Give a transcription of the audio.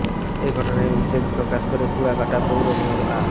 এ ঘটনায় উদ্বেগ প্রকাশ করে কুয়াকাটা পৌর মেয়র আ